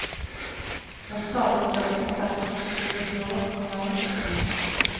Det er stadig større konserter og musikkfestivaler som kan være morsomme.